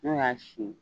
N'o y'a si